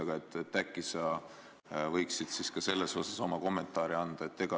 Aga äkki sa võiksid selle kohta oma kommentaari anda?